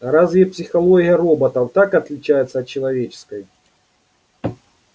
а разве психология роботов так отличается от человеческой